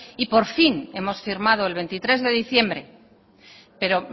y por fin hemos firmado el veintitrés de diciembre pero